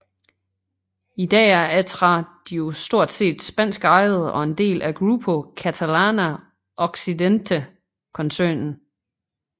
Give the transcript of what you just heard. I dag er Atradius stort set spansk ejet og en del af Grupo Catalana Occidente koncernen